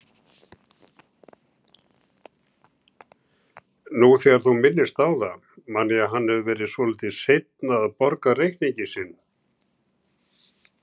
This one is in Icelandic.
Ertu búinn að vera lengi á leiðinni?